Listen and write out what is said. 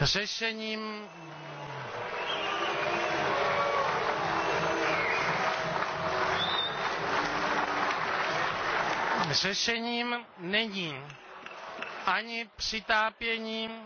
Řešením není ani přitápění